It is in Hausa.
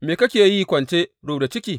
Me kake yi kwance rubda ciki?